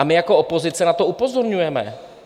A my jako opozice na to upozorňujeme.